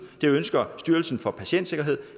det ønsker styrelsen for patientsikkerhed